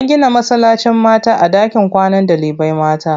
An gina masallacin mata a ɗakin kwanan ɗalibai mata.